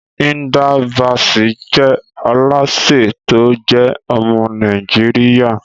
Hilda Baci jẹ alase to je ọmọ Naijiria